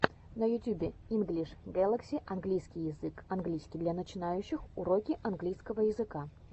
на ютюбе инглиш гэлакси английский язык английский для начинающих уроки английского языка